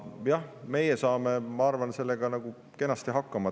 Ja meie saame, ma arvan, sellega kenasti hakkama.